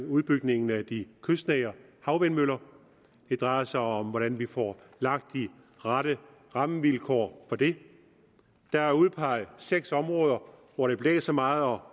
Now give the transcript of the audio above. udbygningen af de kystnære havvindmøller det drejer sig om hvordan vi får lagt de rette rammevilkår for det der er udpeget seks områder hvor det blæser meget og